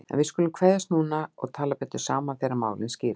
En við skulum kveðjast núna og tala betur saman þegar málin skýrast.